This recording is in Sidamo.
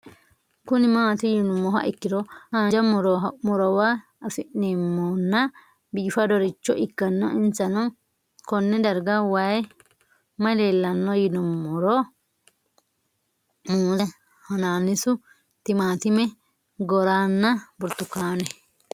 Kuni mati yinumoha ikiro hanja murowa afine'mona bifadoricho ikana isino Kone darga mayi leelanno yinumaro muuze hanannisu timantime gooranna buurtukaane